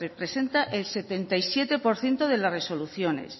representa el setenta y siete por ciento de las resoluciones